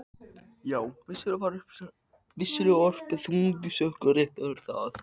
Já, ég var vissulega orpinn þungum sökum, rétt er það.